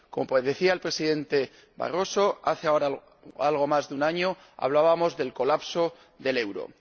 Como decía el presidente Barroso, hace ahora algo más de un año hablábamos del colapso del euro.